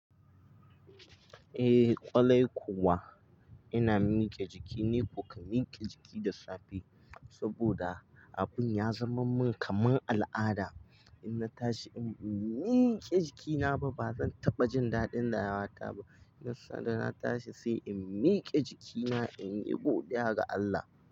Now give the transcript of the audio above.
Eh, ƙwarai kuwa ina miƙe jiki. Ni kuka miƙe jiki da safe saboda abun ya zama min kamar al'ada. In na tashi in bai miƙe jikina ba, ba zan taɓa jin daɗin rayuwa ta ba. Ina sa da na tashi sai in miƙe jikina in yi godiya ga Allah.